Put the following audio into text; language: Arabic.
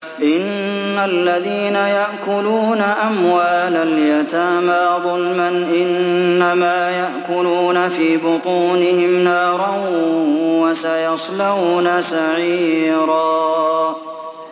إِنَّ الَّذِينَ يَأْكُلُونَ أَمْوَالَ الْيَتَامَىٰ ظُلْمًا إِنَّمَا يَأْكُلُونَ فِي بُطُونِهِمْ نَارًا ۖ وَسَيَصْلَوْنَ سَعِيرًا